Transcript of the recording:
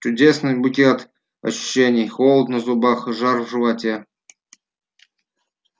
чудесный букет ощущений холод на зубах и жар в животе